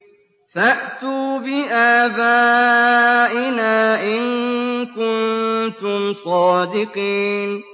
فَأْتُوا بِآبَائِنَا إِن كُنتُمْ صَادِقِينَ